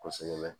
Kosɛbɛ